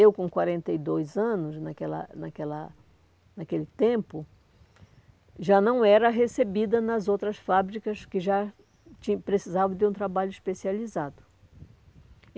Eu, com quarenta e dois anos, naquela naquela naquele tempo, já não era recebida nas outras fábricas que já tin precisavam de um trabalho especializado.